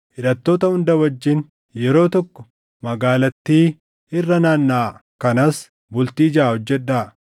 Hidhattoota hunda wajjin yeroo tokko magaalattii irra naannaʼaa; kanas bultii jaʼa hojjedhaa.